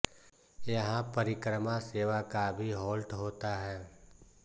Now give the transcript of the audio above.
यहां परिक्रमा सेवा का भी हॉल्ट होता है